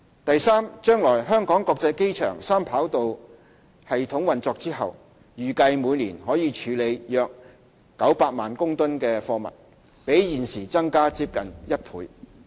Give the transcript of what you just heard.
第三，將來香港國際機場三跑道系統運作後，預計每年可處理約900萬公噸的貨物，比現時增加接近1倍。